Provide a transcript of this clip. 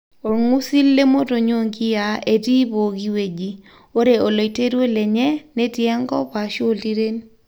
Ongusil lemotonyi o nkiyiaa etii poki weji ore oloiterio lenye netii enkop ashu oltiren.